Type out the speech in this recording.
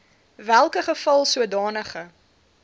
welke geval sodanige